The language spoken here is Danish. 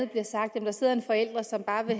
bliver sagt sidder en forælder som bare vil